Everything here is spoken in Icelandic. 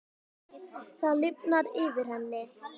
Það lifnar yfir henni.